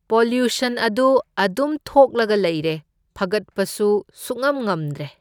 Pollution ꯑꯗꯨ ꯑꯗꯨꯝ ꯊꯣꯛꯂꯒ ꯂꯩꯔꯦ, ꯐꯒꯠꯄꯁꯨ ꯁꯨꯛꯉꯝ ꯉꯝꯗ꯭ꯔꯦ꯫